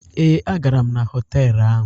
Ee, a gara m na họtelụ ahụ.